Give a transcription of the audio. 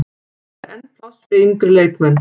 Það er enn pláss fyrir yngri leikmenn.